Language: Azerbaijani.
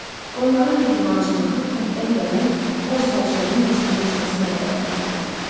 Onların mehribançılığı kənddən gələn boz sərçənin məskunlaşmasına qədər davam elədi.